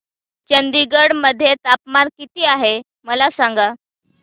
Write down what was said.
चंदगड मध्ये तापमान किती आहे मला सांगा